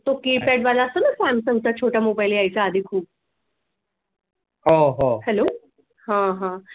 तो keypad वाला असतो ना सॅमसंग छोटा मोबाईल यायचा आधी खूप hello हा हा